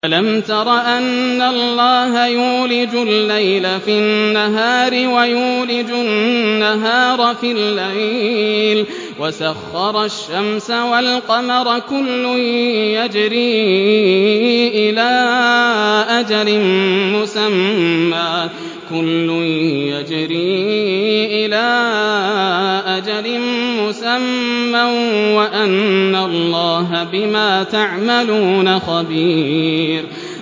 أَلَمْ تَرَ أَنَّ اللَّهَ يُولِجُ اللَّيْلَ فِي النَّهَارِ وَيُولِجُ النَّهَارَ فِي اللَّيْلِ وَسَخَّرَ الشَّمْسَ وَالْقَمَرَ كُلٌّ يَجْرِي إِلَىٰ أَجَلٍ مُّسَمًّى وَأَنَّ اللَّهَ بِمَا تَعْمَلُونَ خَبِيرٌ